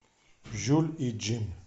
жюль и джим